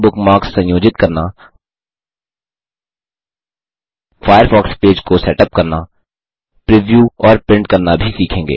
हम बुकमार्क्स संयोजित करना फ़ायरफ़ॉक्स पेज को सेटअप करना प्रिव्यू और प्रिंट करना भी सीखेंगे